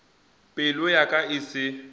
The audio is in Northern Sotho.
pelo ya ka e se